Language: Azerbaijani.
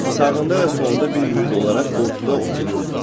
Sağında və solunda bir mürid olaraq ortada otururdu.